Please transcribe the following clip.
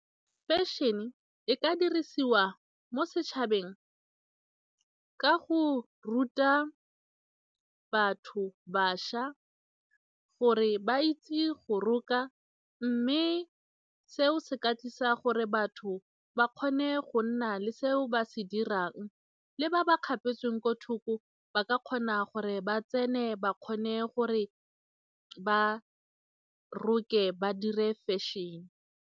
Fashion-e e ka dirisiwa mo setšhabeng ka go ruta batho, bašwa gore ba itse go roka mme seo se ka tlisa gore batho ba kgone go nna le seo ba se dirang, le ba ba kgapetsweng kwa thoko ba ka kgona gore ba tsene ba kgone gore ba roke ba dire fashion-e.